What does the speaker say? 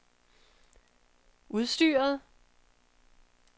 udstyret